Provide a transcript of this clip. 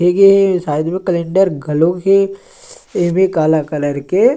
ऐगे side मे calendar घलोक हे एमे काला कलर के--